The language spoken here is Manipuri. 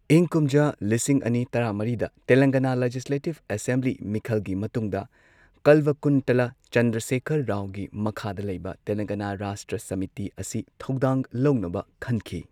ꯏꯪ ꯀꯨꯝꯖꯥ ꯂꯤꯁꯤꯡ ꯑꯅꯤ ꯇꯔꯥꯃꯔꯤꯗ ꯇꯦꯂꯪꯒꯅꯥ ꯂꯦꯖꯤꯁꯂꯦꯇꯤꯚ ꯑꯦꯁꯦꯝꯕ꯭ꯂꯤ ꯃꯤꯈꯜꯒꯤ ꯃꯇꯨꯡꯗ ꯀꯜꯚꯥꯀꯨꯟꯇꯂꯥ ꯆꯟꯗ꯭ꯔꯁꯦꯀꯔ ꯔꯥꯎꯒꯤ ꯃꯈꯥꯗ ꯂꯩꯕ ꯇꯦꯂꯡꯒꯥꯅꯥ ꯔꯥꯁꯇ꯭ꯔ ꯁꯃꯤꯇꯤ ꯑꯁꯤ ꯊꯧꯗꯥꯡ ꯂꯧꯅꯕ ꯈꯟꯈꯤ꯫